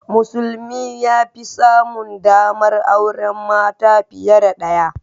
Musulmi ya fi samun ɗamar auren mata fiye da ɗaya.